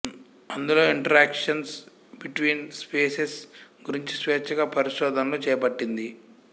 అందులో interactions between spices గురించి స్వేచ్చగా పరిశోధనలు చేపట్టింది